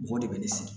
Mɔgɔw de bɛ ne sigi